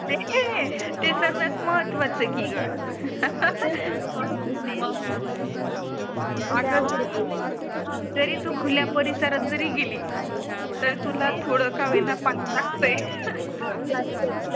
ते सर्वात महत्त्वाचं की ग जरी तू खुल्या परिसरात जरी गेली तर तुला थोडं का होईना पाणी लागते